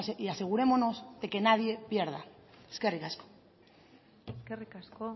y asegurémonos de que nadie pierda eskerrik asko eskerrik asko